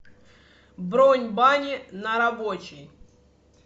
бронь бани на рабочей